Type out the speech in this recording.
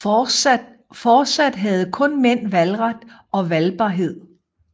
Fortsat havde kun mænd valgret og valgbarhed